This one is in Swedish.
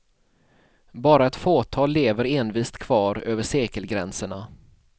Bara ett fåtal lever envist kvar över sekelgränserna.